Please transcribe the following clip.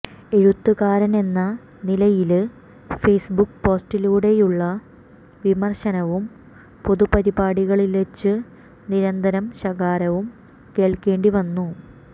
എഴുത്തുകാരനെന്ന നിലയില് ഫേയ്സ്ബുക്ക് പോസ്റ്റിലൂടെയുള്ള വിമര്ശനവും പൊതുപരിപാടികളില്വെച്ച് നിരന്തരം ശകാരവും കേള്ക്കേണ്ടി വരുന്നു